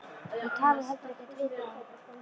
Þú talar heldur ekkert við þá.